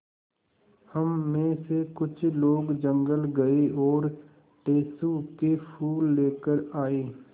हम मे से कुछ लोग जंगल गये और टेसु के फूल लेकर आये